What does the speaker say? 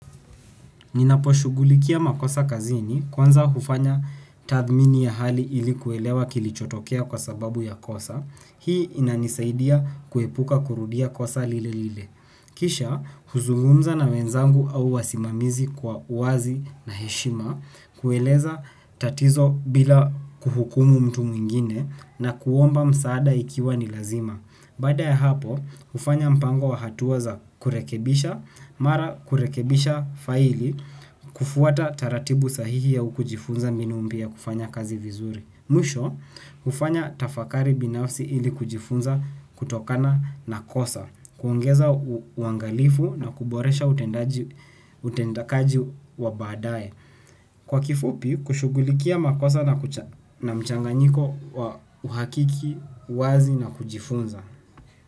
Ninaposhughulikia makosa kazini kwanza hufanya tathmini ya hali ilikuwelewa kilichotokea kwa sababu ya kosa. Hii inanisaidia kuepuka kurudia kosa lile lile. Kisha huzungumza na wenzangu au wasimamizi kwa uwazi na heshima kueleza tatizo bila kuhukumu mtu mwingine na kuomba msaada ikiwa ni lazima. Baada ya hapo, hufanya mpango wa hatua za kurekebisha, mara kurekebisha faili, kufuata taratibu sahihi au kujifunza mbinu mpya ya kufanya kazi vizuri. Mwisho, hufanya tafakari binafsi ili kujifunza kutokana na kosa, kuongeza uangalifu na kuboresha utendakaji wa baadae. Kwa kifupi, kushughulikia makosa na mchanganyiko wa uhakiki, uwazi na kujifunza.